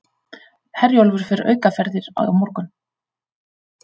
Herjólfur fer aukaferðir á morgun